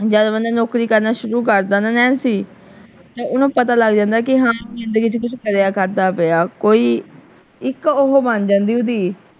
ਜਦ ਬੰਦਾ ਨੌਕਰੀ ਕਰਨਾ ਸ਼ੁਰੂ ਕਰਦਾ ਨਾ ਨੈਂਸੀ ਤੇ ਓਹਨੂੰ ਪਤਾ ਲੱਗ ਜਾਂਦਾ ਕਿ ਹਾਂ ਜਿੰਦਗੀ ਚ ਕੁਛ ਕਿਰਿਆ ਕਰਦਾ ਪਿਆ ਕੋਈ ਇੱਕ ਉਹ ਬਣ ਜਾਂਦੀ ਓਹਦੀ।